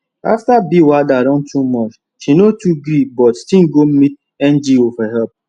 after bill wahala don too much she no too gree but still go meet ngo for help